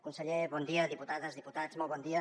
conseller bon dia diputades diputats molt bon dia